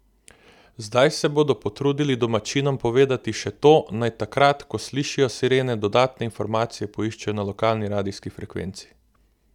Zdaj se bodo potrudili domačinom povedati še to, naj takrat, ko slišijo sirene, dodatne informacije poiščejo na lokalni radijski frekvenci.